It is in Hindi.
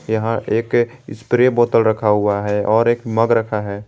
यहां एक स्प्रे बोतल रखा हुआ है और एक मग रखा है।